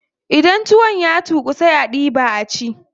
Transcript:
Idan tuwon ya tuƙu sai a diɓa a ci.